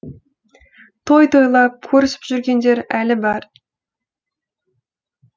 той тойлап көрісіп жүргендер әлі бар